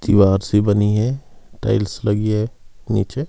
दीवार सी बनी है टाइल्स लगी है नीचे।